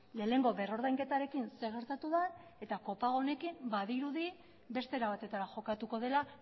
lehenengo berrordainketarekin zer gertatu den eta kopago honekin badirudi beste era batetara jokatuko dela